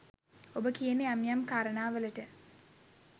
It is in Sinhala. ඔබ කියන යම් යම් කාරණා වලට